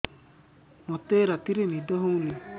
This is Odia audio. ମୋତେ ରାତିରେ ନିଦ ହେଉନି